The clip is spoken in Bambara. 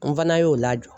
N fana y'o lajɔ